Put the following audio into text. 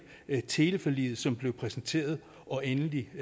teleforliget som blev præsenteret og endelig